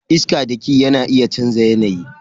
Iska daki na iya chanza yanayi.